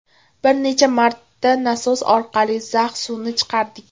Bir necha marta nasos orqali zax suvni chiqardik.